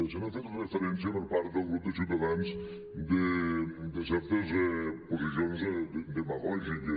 se n’ha fet referència per part del grup de ciutadans de certes posicions dema·gògiques